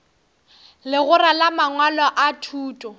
legora la mangwalo a thuto